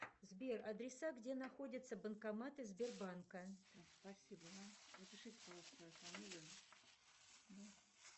сбер адреса где находятся банкоматы сберанка